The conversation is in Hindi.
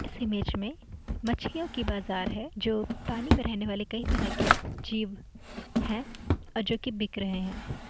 इस इमेज में मछलियो की बाजार है जो पानी में रहने वाले कई तराह के जीव हैं और जो कि बिक रहे हैं।